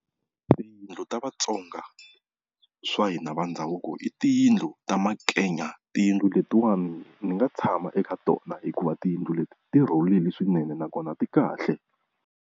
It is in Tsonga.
Tiyindlu ta Vatsonga swa hina va ndhavuko i tiyindlu ta makenya, tiyindlu letiwani ni nga tshama eka tona hikuva tiyindlu leti ti rhulile swinene nakona ti kahle.